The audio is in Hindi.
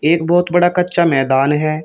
एक बहोत बड़ा कच्चा मैदान है।